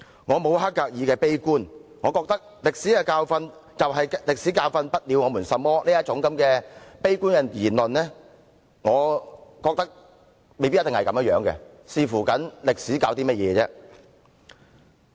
我沒有黑格爾的悲觀，我認為"歷史的教訓就是歷史教訓不了我們甚麼"這種悲觀言論未必正確，只是視乎歷史教授的是甚麼而已。